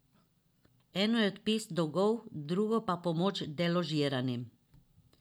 Eno je odpis dolgov, drugo pa pomoč deložiranim.